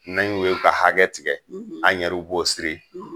N'an y'u ye ka hakɛ tigɛ an yɛru bo siri